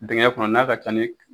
Dingɛ kɔnɔ n'a ka ca ni